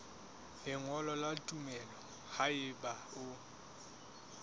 lengolo la tumello haeba o